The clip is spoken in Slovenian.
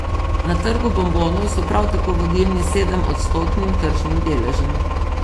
Na trgu bombonov so prav tako vodilni s sedemodstotnim tržnim deležem.